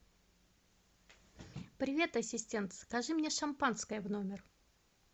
привет ассистент закажи мне шампанское в номер